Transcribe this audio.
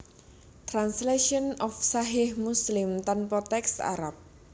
Translation of Sahih Muslim tanpa teks Arab